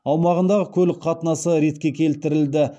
аумағындағы көлік қатынасы ретке келтірілді